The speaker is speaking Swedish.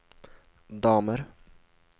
damer